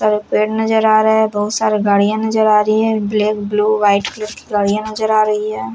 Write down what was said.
सारे पेड़ नजर आ रहा है बहुत सारी गाड़ियां नजर आ रही हैं ब्लैक ब्लू व्हाइट कलर की गाड़ियां नजर आ रही हैं।